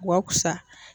Wa kusa